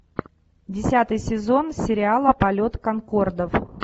десятый сезон сериала полет конкордов